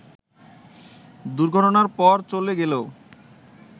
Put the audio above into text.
দুর্ঘটনার পর চলে গেলেও